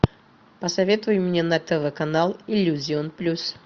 посоветуй мне на тв канал иллюзион плюс